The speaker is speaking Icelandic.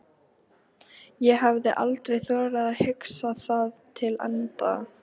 ég hafði aldrei þorað að hugsa það til enda.